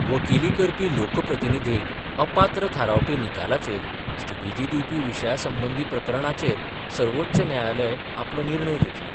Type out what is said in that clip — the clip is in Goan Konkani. वकिली करपी लोकप्रतिनीधीक अपात्र थारावपी निकालाचेर स्थगीती दिवपी विशया संबंधी प्रकरणाचेर सर्वोच्च न्यायालय आपलो निर्णय दितले.